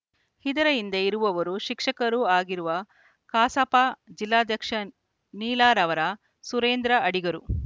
ಇದರ ಹಿಂದೆ ಇರುವವರು ಶಿಕ್ಷಕರೂ ಆಗಿರುವ ಕಸಾಪ ಜಿಲ್ಲಾಧ್ಯಕ್ಷ ನೀಲಾರವರ ಸುರೇಂದ್ರ ಅಡಿಗರು